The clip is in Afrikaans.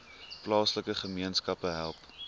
plaaslike gemeenskappe help